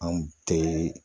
Anw te